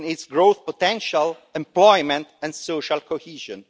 growth potential, employment and social cohesion.